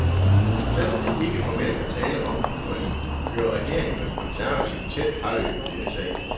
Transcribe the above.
Selv om der ikke formelt er tale om et forlig, kører regeringen og de konservative tæt parløb i denne sag.